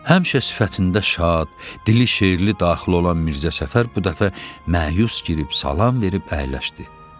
Həmişə sifətində şad, dili şeirli daxil olan Mirzə Səfər bu dəfə məyus gəlib salam verib əyləşdi.